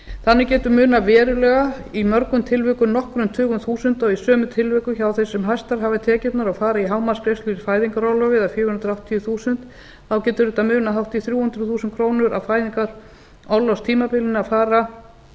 þannig getur munað verulega í mörgum tilvikum nokkrum tugum þúsunda og í sumum tilvikum hjá þeim sem hæstar hafa tekjurnar og fara í hámarksgreiðslur í fæðingarorlofi eða fjögur hundruð áttatíu þúsund þá getur þetta munað hátt í þrjú hundruð þúsund krónur á fæðingarorlofstímabilinu að fara